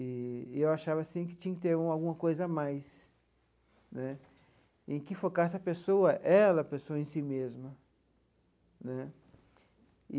E e eu achava assim que tinha que ter alguma coisa a mais né, em que focasse a pessoa, ela, a pessoa em si mesma né.